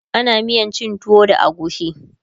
ana miyan cin tuwo da agushi